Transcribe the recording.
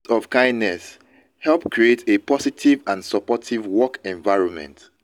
acts of kindness help create a positive and supportive work environment.